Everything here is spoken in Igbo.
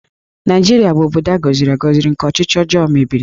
Naịjirịa bụ obodo gọziri agọzi nke ọchịchị ọjọọ mebiri